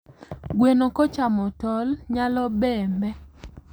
gweno kochamo tol nyalobembee